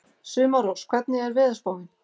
Sumarrós, hvernig er veðurspáin?